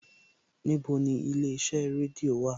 Níbo ni ilé iṣẹ́ rédíò wà?